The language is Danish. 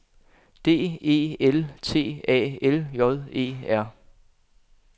D E L T A L J E R